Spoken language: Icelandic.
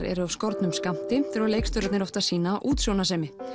eru af skornum skammti þurfa leikstjórarnir oft að sýna útsjónarsemi